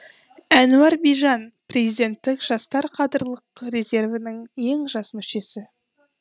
әнуар бижан президенттік жастар қадрлық резервінің ең жас мүшесі